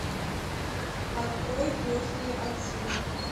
открой крестные отцы